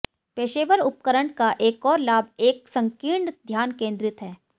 पेशेवर उपकरण का एक और लाभ एक संकीर्ण ध्यान केंद्रित है